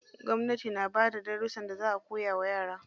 Gwamnati na bada darussan da za a koya wa yara.